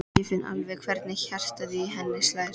Ég finn alveg hvernig hjartað í henni slær.